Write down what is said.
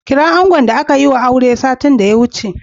Kira angon da aka yiwa aure satin da ya wuce.